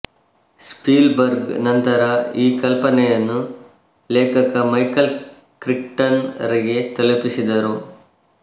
ಸ್ಪೀಲ್ burg ನಂತರ ಈ ಕಲ್ಪನೆಯನ್ನು ಲೇಖಕ ಮೈಕಲ್ ಕ್ರಿಕ್ಟನ್ ರಿಗೆ ತಲುಪಿಸಿದರು